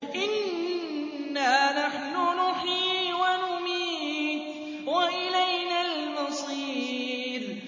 إِنَّا نَحْنُ نُحْيِي وَنُمِيتُ وَإِلَيْنَا الْمَصِيرُ